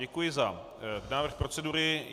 Děkuji za návrh procedury.